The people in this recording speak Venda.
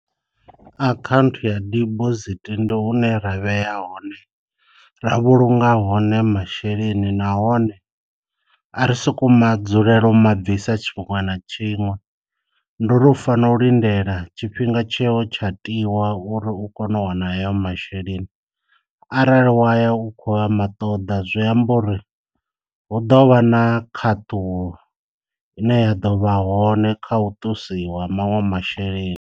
Akhanthu ya dibosithi ndi hune ra vhea hone ra vhulunga hone masheleni nahone a ri soko ma dzulela u ma bvisa tshiṅwe na tshiṅwe, ndi uri u fana u lindela tshifhinga tsheo tsha tiwa uri u kone u wana ayo masheleni, arali waya u kho ya ma ṱoḓa zwi amba uri hu ḓo vha na khaṱulo ine ya ḓo vha hone kha u ṱusiwa ha manwe masheleni.